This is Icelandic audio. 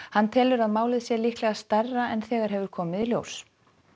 hann telur að málið sé líklega stærra en þegar hefur komið í ljós